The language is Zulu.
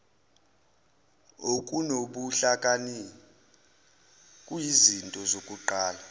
okunobuhlakani kuyizinto zokuqala